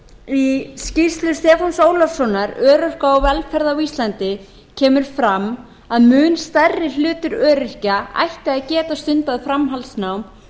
í skýrslu stefáns ólafssonar örorka og velferð á íslandi kemur fram að mun stærri hluti öryrkja ætti að geta stundað framhaldsnám og nám